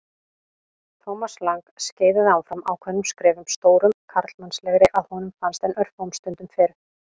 Thomas Lang skeiðaði áfram ákveðnum skrefum, stórum karlmannlegri að honum fannst en örfáum stundum fyrr.